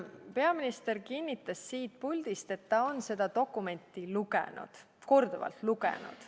Peaminister kinnitas siit puldist, et ta on seda dokumenti lugenud, korduvalt lugenud.